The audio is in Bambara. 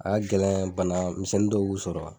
A ka gɛlɛn bana misɛnni dɔw k'u sɔrɔ.